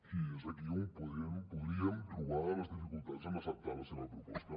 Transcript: i és aquí on podríem trobar les dificultats en acceptar la seva proposta